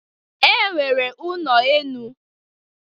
E nwere ụnọ enu.